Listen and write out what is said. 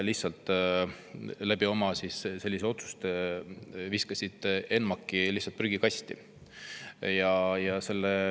Oma selliste otsustega viskasite te ENMAK‑i prügikasti.